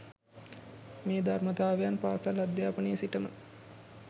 මේ ධර්මතාවයන් පාසල් අධ්‍යාපනයේ සිටම